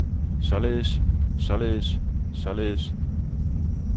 således således således